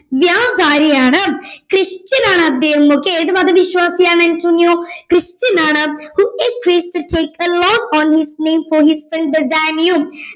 വ്യാപാരിയാണ് christian ആണദ്ദേഹം okay ഏത് മതവിശ്വാസിയാണ് അന്റോണിയോ christian ആണ് who has to taken loan on his name for his friend Bassanio